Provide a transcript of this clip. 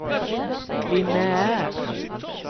lineær